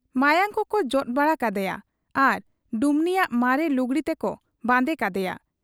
ᱢᱟᱭᱟᱝ ᱠᱚᱠᱚ ᱡᱚᱫ ᱵᱟᱲᱟ ᱠᱟᱫᱮᱭᱟ ᱟᱨ ᱰᱩᱢᱱᱤᱭᱟᱜ ᱢᱟᱨᱮ ᱞᱩᱜᱽᱲᱤ ᱛᱮᱠᱚ ᱵᱟᱸᱫᱮ ᱠᱟᱫᱮᱭᱟ ᱾